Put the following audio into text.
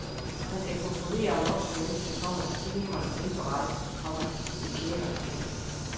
Jeg skal kontrollere om voksne mennesker kommer til timerne og indberette, komma hvis de pjækker. punktum